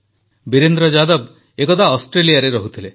ବୀରେନ୍ଦ୍ର ଯାଦବ ଏକଦା ଅଷ୍ଟ୍ରେଲିଆରେ ରହୁଥିଲେ